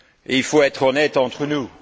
Il faut être honnête entre nous.